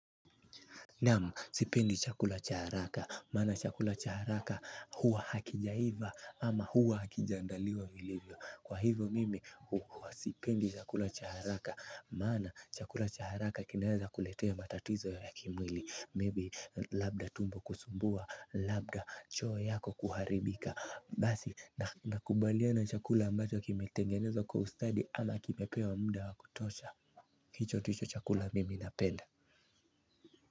Naam, sipendi chakula cha haraka maana chakula cha haraka huwa hakijaiva ama huwa hakija andaliwa vilivyo. Kwa hivyo mimi huwa sipendi chakula cha haraka maana chakula cha haraka kinaweza kuletea matatizo ya kimwili 'maybe' labda tumbo kusumbua labda choo yako kuharibika, basi nakubaliana chakula ambayo kimetengenezwa kwa ustadi ama kimepewa muda wakutosha. Hicho ndicho chakula mimi napenda.